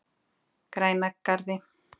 Grænagarði